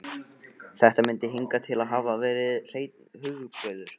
Þetta myndi hingað til hafa verið hreinn hugarburður.